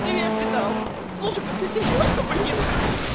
привет витал слушайка ты серьёзно блин